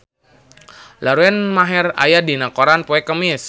Lauren Maher aya dina koran poe Kemis